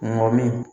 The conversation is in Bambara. Mɔ min